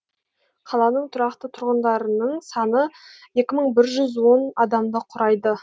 қаланың тұрақты тұрғындарының саны екі мың бір жүз он адамды құрайды